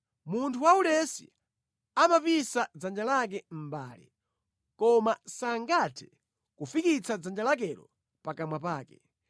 Munthu waulesi amapisa dzanja lake mʼmbale; koma sangathe kufikitsa dzanja lakelo pakamwa pake.